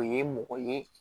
O ye mɔgɔ ye